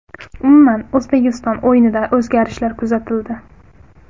Umuman, O‘zbekiston o‘yinida o‘zgarishlar kuzatildi.